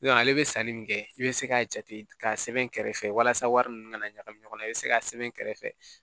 ale bɛ sanni min kɛ i bɛ se k'a jate ka sɛbɛn kɛrɛfɛ walasa wari ninnu kana ɲagami ɲɔgɔn na i bɛ se k'a sɛbɛn kɛrɛfɛ